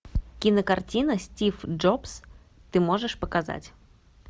кинокартина стив джобс ты можешь показать